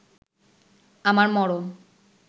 আমার মরণ